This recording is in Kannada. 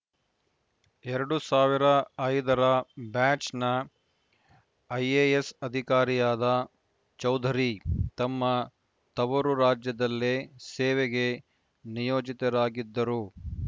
ಎರಡು ಸಾವಿರ ಐದರ ಬ್ಯಾಚ್‌ನ ಐಎಎಸ್‌ ಅಧಿಕಾರಿಯಾದ ಚೌಧರಿ ತಮ್ಮ ತವರು ರಾಜ್ಯದಲ್ಲೇ ಸೇವೆಗೆ ನಿಯೋಜಿತರಾಗಿದ್ದರು